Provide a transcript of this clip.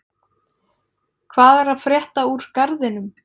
Hvað er að frétta úr Garðinum?